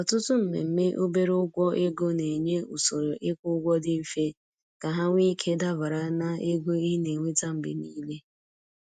Ọtụtụ mmemme obere ụgwọ ego na-enye usoro ịkwụ ụgwọ dị mfe ka ha nwee ike dabara na ego ị na-enweta mgbe niile.